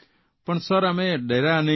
પણ સર અમે ડર્યા નહીં